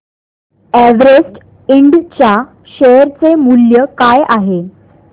Everest Ind च्या share चे मूल्य काय आहे